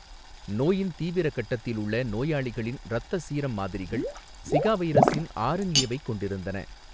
நோயின் தீவிர கட்டத்தில் உள்ள நோயாளிகளின் இரத்த சீரம் மாதிரிகள் ஸிகா வைரஸின் ஆர்என்ஏவைக் கொண்டிருந்தன.